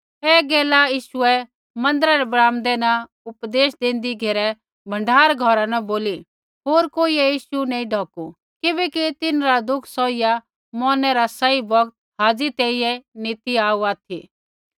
ऐ गैला यीशुऐ मन्दिरा रै ब्राम्दै न उपदेश देंदी घेरै भण्डार घौरा न बोली होर कोइयै यीशु नैंई ढौकू किबैकि तिन्हरा दुःख सौहिया मौरनै रा सही बौगत हाज़ी तैंईंयैं नी ती आऊ ऑथि